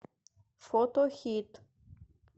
фото хит